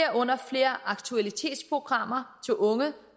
herunder flere aktualitetsprogrammer til unge